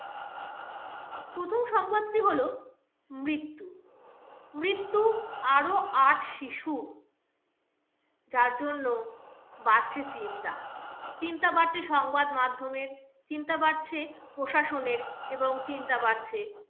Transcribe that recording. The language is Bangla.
মৃত্যু, মৃত্যু আরও আট শিশু যার জন্য বাড়ছে চিন্তা, চিন্তা বাড়ছে সংবাদ মাধ্যমের, চিন্তা বাড়ছে প্রশাসনের এবং চিন্তা বাড়ছে